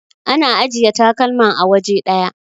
ana ajiya takalman a waje daya